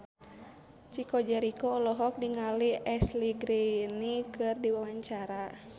Chico Jericho olohok ningali Ashley Greene keur diwawancara